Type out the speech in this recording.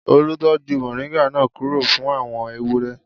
Olú tọ́jú moringa náà kúrò fún àwọn ewúrẹ́.